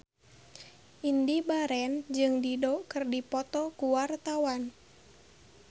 Indy Barens jeung Dido keur dipoto ku wartawan